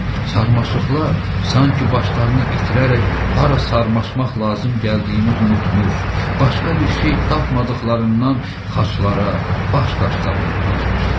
Sarmaşıqlar sanki başlarını itirərək hara sarmaşmaq lazım gəldiyini unutmuş, başqa bir şey tapmadıqlarından xaçlara, baş daşlarına dolaşmışdılar.